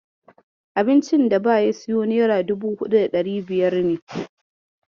Abincin daba siyo nera dubu huɗu da ɗari biyar ne.